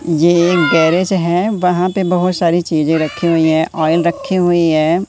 ये एक गैरेज हैं वहां पे बहोत सारी चीजें रखीं हुई हैं आयल रखीं हुई हैं।